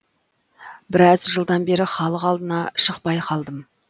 біраз жылдан бері халық алдына шықпай қалдым